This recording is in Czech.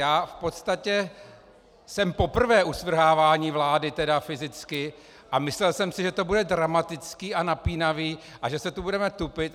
Já v podstatě jsem poprvé u svrhávání vlády, tedy fyzicky, a myslel jsem si, že to bude dramatické a napínavé, že se tu budeme tupit.